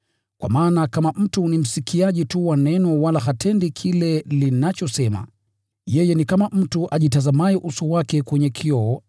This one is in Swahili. Kwa maana kama mtu ni msikiaji tu wa Neno wala hatendi kile linachosema, yeye ni kama mtu ajitazamaye uso wake kwenye kioo